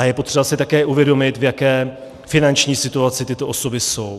A je potřeba si také uvědomit, v jaké finanční situaci tyto osoby jsou.